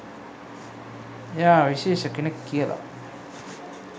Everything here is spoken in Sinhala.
එයා විශේෂ කෙනෙක් කියලා.